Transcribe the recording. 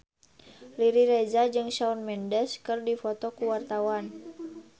Riri Reza jeung Shawn Mendes keur dipoto ku wartawan